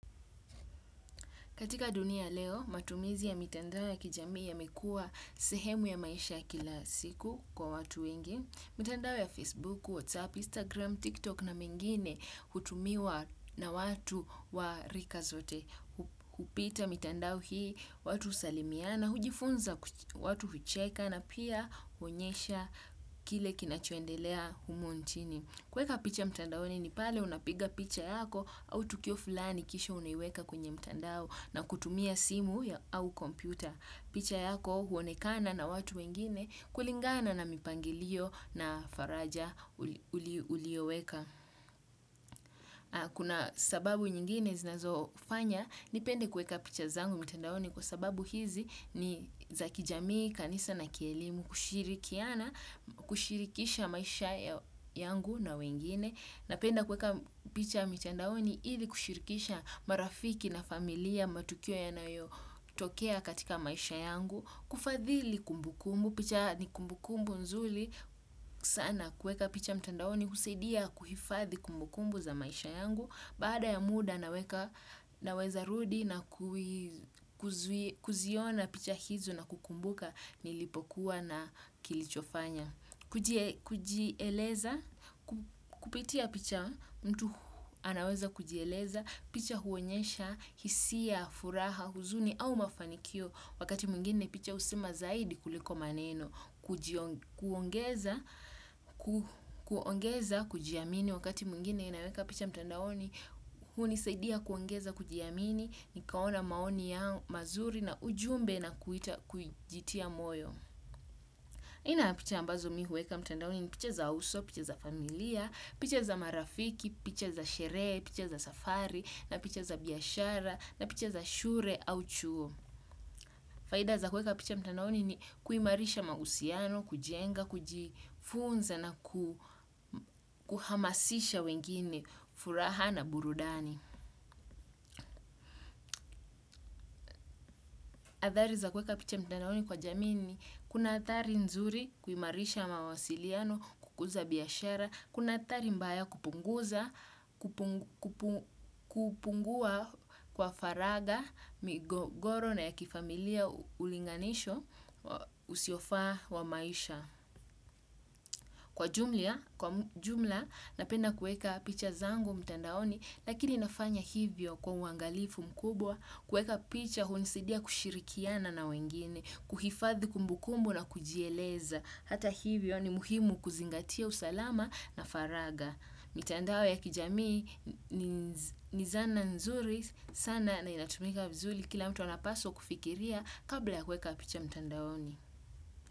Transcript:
Katika dunia ya leo matumizi ya mitandao ya kijamii yamekuwa sehemu ya maisha ya kila siku kwa watu wengi. Mitandao ya Facebook, WhatsApp, Instagram, TikTok na mengine hutumiwa na watu wa rika zote. Hupita mitandao hii, watu husalimiana hujifunza watu hucheka na pia huonyesha kile kinachoendelea humu nchini. Kuweka picha mitandaoni ni pale unapiga picha yako au tukio fulani kisha unaiweka kwenye mtandao. Na kutumia simu au kompyuta. Picha yako huonekana na watu wengine kulingana na mipangilio na faraja ulioweka. Kuna sababu nyingine zinazofanya, nipende kueka picha zangu mtandaoni kwa sababu hizi ni za kijamii, kanisa na kielimu, kushirikiana kushirikisha maisha yangu na wengine. Napenda kuweka picha mitandaoni ili kushirikisha marafiki na familia matukio yanayotokea katika maisha yangu, kufadhili kumbukumbu, picha ni kumbukumbu nzuri, sana kuweka picha mtandaoni, husaidia kuhifadhi kumbukumbu za maisha yangu, baada ya muda naweka naweza rudi na kuziona picha hizo na kukumbuka nilipokuwa na kilichofanya. Kujieleza, kupitia picha mtu anaweza kujieleza. Picha huonyesha, hisia, furaha, huzuni au mafanikio. Wakati mwingine picha husema zaidi kuliko maneno. Kuongeza, kuongeza, kujiamini. Wakati mwingine inaweka picha mtandaoni. Hunisaidia kuongeza, kujiamini. Nikaona maoni yao mazuri na ujumbe na kuita kujitia moyo aina ya picha ambazo mi huweka mtandaoni ni picha za uso, picha za familia, picha za marafiki, picha za sherehe, picha za safari na picha za biashara na picha za shule au chuo. Faida za kuweka picha mtandaoni ni kuimarisha mahusiano, kujenga, kujifunza na kuhamasisha wengine, furaha na burudani. Athari za kuweka picha mtandaoni kwa jamii ni, kuna athari nzuri kuimarisha mawasiliano, kukuza biashara, kuna athari mbaya kupunguza, kupungua kwa faragha, migogoro na ya kifamilia ulinganisho, usiofaa wa maisha. Kwa jumla napenda kuweka picha zangu mtandaoni lakini nafanya hivyo kwa uangalifu mkubwa kuweka picha hunisidia kushirikiana na wengine, kuhifadhi kumbukumbu na kujieleza. Hata hivyo ni muhimu kuzingatia usalama na faraga. Mitandao ya kijamii ni zana nzuri sana na inatumika vizuri kila mtu anapaswa kufikiria kabla ya kueka picha mtandaoni.